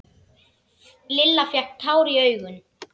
Lilla fékk tár í augun.